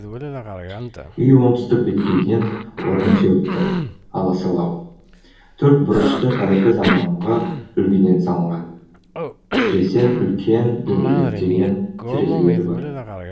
үй оңтүстік беткейден орын теуіпті аласалау төрт бұрышты қазіргі заманғы үлгіде салынған сресен үлкен дөңгелектенген терезелері бар